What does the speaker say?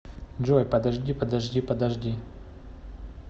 джой подожди подожди подожди